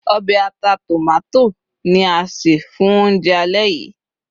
obe ata tomato ni a se fún ounjẹ alẹ́ yìí